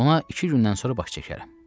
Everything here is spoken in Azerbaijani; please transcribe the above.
Ona iki gündən sonra baş çəkərəm.